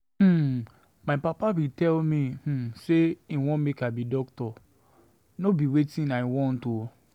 um my papa bin tell me um sey im want make I be doctor, no be wetin I want o.